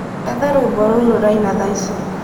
etha rwīmbo ruū rūraīna thaa ici